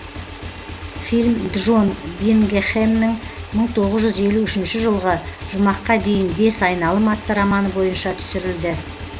фильм джон бингхэмның мың тоғыз жүз елу үшінші жылғы жұмаққа дейін бес айналым атты романы бойынша түсірілді